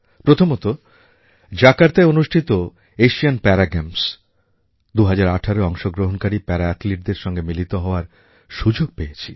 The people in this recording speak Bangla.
প্রথমত জাকার্তায় অনুষ্ঠিত আসিয়ান পারা গেমস 2018য় অংশগ্রহণকারী পারা athleteদের সঙ্গে মিলিত হওয়ার সুযোগ পেয়েছি